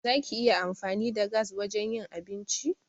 Za ki iya amfani da gas wajen yin abinci?